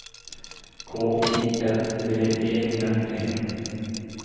K I L D E N E